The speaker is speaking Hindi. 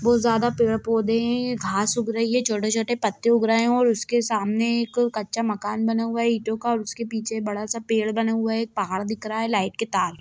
बहुत ज्यादा पेड़ पौधे हैं घास उग रही है छोटे-छोटे पत्ते उग रहे हैं और उसके सामने एक कच्चा मकान बना हुआ है ईंटो का और उसके पीछे बड़ा सा पेड़ बना हुआ है एक पहाड़ दिख रहा है लाईट के तार--